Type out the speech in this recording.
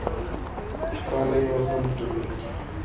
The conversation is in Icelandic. Hvað lifa pöndur lengi?